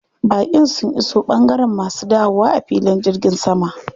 Baƙin sun iso ɓangaren masu dawowa a filin jirgin sama.